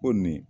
Ko nin